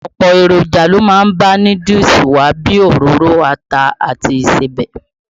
Ọ̀pọ̀ èròjà ló má ń bá núdúùsù wá bíi òróró, ata àti ìsebẹ̀.